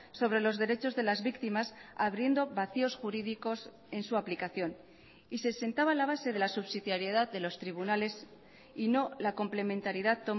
sobre los derechos de las víctimas abriendo vacíos jurídicos en su aplicación y se sentaba la base de la subsidiariedad de los tribunales y no la complementariedad